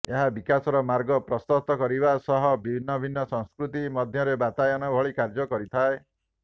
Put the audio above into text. ଏହା ବିକାଶର ମାର୍ଗ ପ୍ରଶସ୍ତ କରିବା ସହ ଭିନ୍ନଭିନ୍ନ ସଂସ୍କୃତି ମଧ୍ୟରେ ବାତାୟନ ଭଳି କାର୍ଯ୍ୟ କରିଥାଏ